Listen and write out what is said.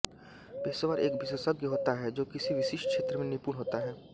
पेशेवर एक विशेषज्ञ होता है जो किसी विशिष्ट क्षेत्र में निपुण होता है